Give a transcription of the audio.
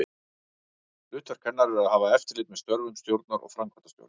Hlutverk hennar er að hafa eftirlit með störfum stjórnar og framkvæmdastjóra.